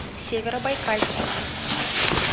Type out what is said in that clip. северобайкальску